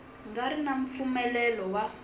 nga ri na mpfumelelo wa